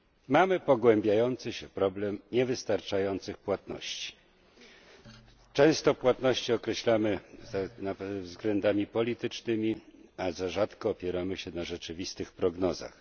Mamy pogłębiający się problem niewystarczających płatności. Często płatności określamy kierując się względami politycznymi, bardzo rzadko opieramy się na rzeczywistych prognozach.